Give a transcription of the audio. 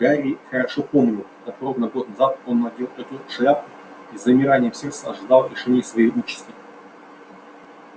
гарри хорошо помнил как ровно год назад он надел эту шляпу и с замиранием сердца ожидал решения своей участи